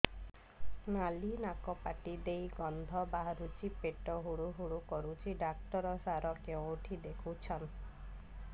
ଖାଲି ନାକ ପାଟି ଦେଇ ଗଂଧ ବାହାରୁଛି ପେଟ ହୁଡ଼ୁ ହୁଡ଼ୁ କରୁଛି ଡକ୍ଟର ସାର କେଉଁଠି ଦେଖୁଛନ୍ତ